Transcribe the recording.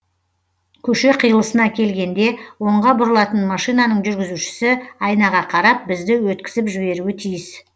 көше қиылысына келгенде оңға бұрылатын машинаның жүргізушісі айнаға қарап бізді өткізіп жіберуі тиіс